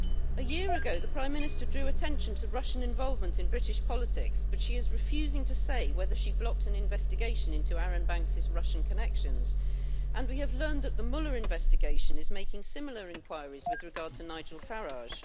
A year ago, the Prime Minister drew attention to Russian involvement in British politics, but she is refusing to say whether she blocked an investigation into Arron Banks' Russian connections, and we have learned that the Mueller investigation is making similar inquiries with regard to Nigel Farage.